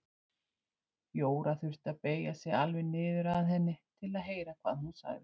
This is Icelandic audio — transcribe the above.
Jóra þurfti að beygja sig alveg niður að henni til að heyra hvað hún sagði.